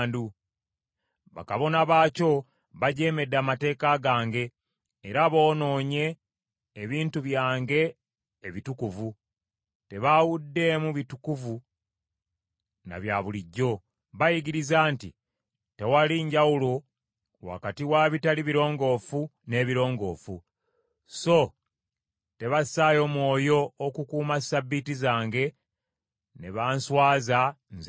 Bakabona baakyo bajeemedde amateeka gange era boonoonye ebintu byange ebitukuvu; tebaawuddeemu bitukuvu na bya bulijjo; bayigiriza nti tewali njawulo wakati wa bitali birongoofu n’ebirongoofu, so tebassaayo mwoyo okukuuma Ssabbiiti zange, ne banswaza Nze mu bo.